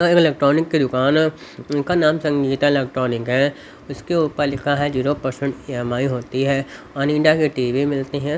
Electronic की दुकान है इनका नाम संगीता इलेक्ट्रॉनिक है उसके ऊपर लिखा है जीरो परसेंट ई_एम_आई होती है अनीडा की टी_वी मिलते हैं।